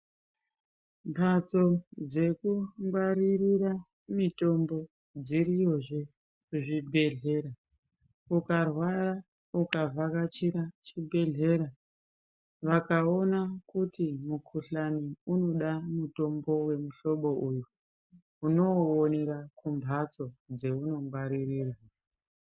Mbatso dzekungwaririre mitombo dziriyozve kuchibhedhlera ukarwara ukavhakachira chibhedhlera. Vakaona kuti mukuhlani unoda mutombo vemuhlobo uyu unouonera kumhatso dzaunongwaririra.